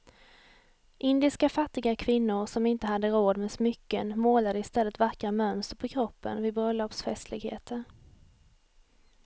Indiska fattiga kvinnor som inte hade råd med smycken målade i stället vackra mönster på kroppen vid bröllopsfestligheter.